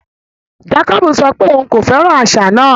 Jàkòbú sọ pé ọ̀un kò fẹ́ran àṣà náà.